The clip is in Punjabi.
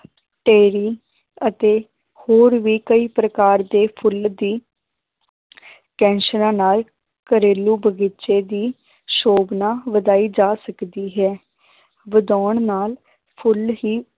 ਅਤੇ ਹੋਰ ਵੀ ਕਈ ਪ੍ਰਕਾਰ ਦੇ ਫੁੱਲ ਦੀ ਕੈਂਸਰਾਂ ਨਾਲ ਘਰੇਲੂ ਬਗ਼ੀਚੇ ਦੀ ਸੋਭਨਾ ਵਧਾਈ ਜਾ ਸਕਦੀ ਹੈ ਵਧਾਉਣ ਨਾਲ ਫੁੱਲ ਹੀ